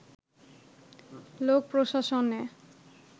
লোক প্রশাসনে